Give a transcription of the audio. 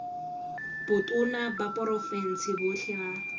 botona ba porofense botlhe ba